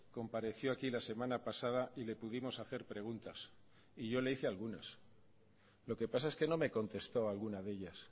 compareció aquí la semana pasada y le pudimos hacer preguntas y yo le hice algunas lo que pasa es que no me contestó a alguna de ellas